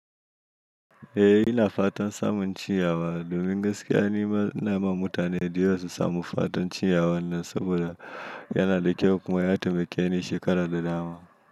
Eh ina fatan samun ciyawa. Domin gaskiya nima inama mutane, dayawa su samu fatan ciyawa nan saboda yanada kyau kuma ya taimakeni shekara da dama.